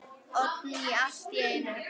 Oddný allt í einu.